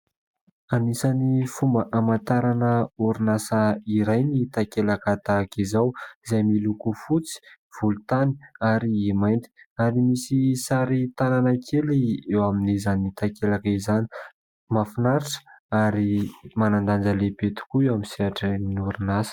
Anisany fomba hamantarana orinasa iray ny takelaka tahaka izao izay miloko fotsy, volontany ary mainty ary misy sary tanana kely eo amin'izany takelaka izany, mahafinaritra ary manan-danja lehibe tokoa eo amin'ny sehatra ny orinasa.